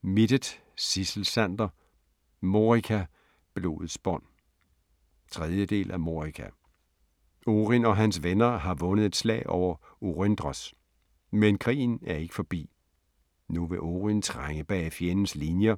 Mittet, Sidsel Sander: Morika - blodets bånd 3. del af Morika. Oryn og hans venner har vundet et slag over Oryndros, men krigen er ikke forbi. Nu vil Oryn trænge bag fjendens linjer